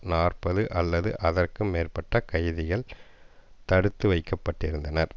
நாற்பது அல்லது அதற்கும் மேற்பட்ட கைதிகள் தடுத்து வைக்க பட்டிருந்தனர்